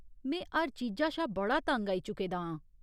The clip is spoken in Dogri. में हर चीजा शा बड़ा तंग आई चुके दा आं।